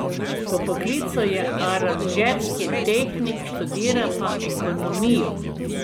Po poklicu je aranžerski tehnik, študira še ekonomijo.